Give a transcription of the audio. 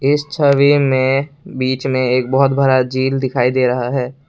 इस छवि में बीच में एक बहुत भरा झील दिखाई दे रहा है।